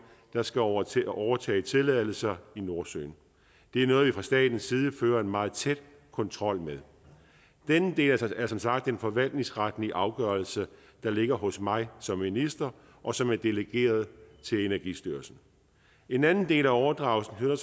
der skal overtage overtage tilladelser i nordsøen det er noget vi fra statens side fører en meget tæt kontrol med denne del er som sagt en forvaltningsretlig afgørelse der ligger hos mig som minister og som er delegeret til energistyrelsen en anden del af overdragelsen er